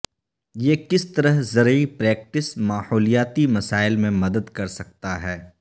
یہ کس طرح زرعی پریکٹس ماحولیاتی مسائل میں مدد کرسکتا ہے